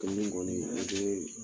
kɔni o tee